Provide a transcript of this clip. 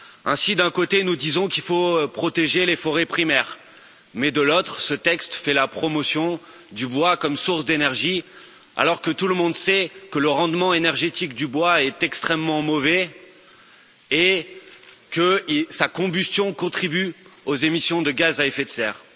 Ainsi d'un côté, nous disons qu'il faut protéger les forêts primaires, mais de l'autre, ce texte fait la promotion du bois comme source d'énergie, alors que tout le monde sait que le rendement énergétique du bois est extrêmement mauvais et que sa combustion contribue aux émissions de gaz à effet de serre.